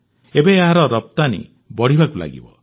ଏବେ ଏହାର ରପ୍ତାନୀ ବଢ଼ିବାକୁ ଲାଗିବ